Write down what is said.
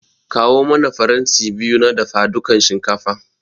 Kawo mana faranti biyu na dafadukan shinkafa.